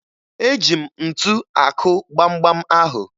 Eji m ntu akụ gbamgbam ahụ